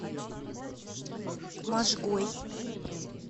можгой